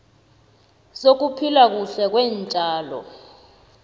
sokuphila kuhle kweentjalo